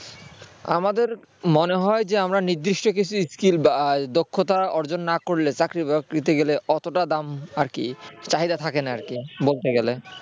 আমাদের মনে হয় যে আমরা নির্দিষ্ট কিছু skill বা দক্ষতা অর্জন না করলে চাকরি বাকরিতে গেলে অতটা দাম আর কি চাহিদা থাকে না আর কি বলতে গেলে